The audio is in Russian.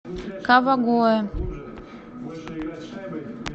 кавагоэ